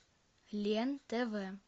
лен тв